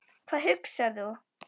Hvað hugsar þú?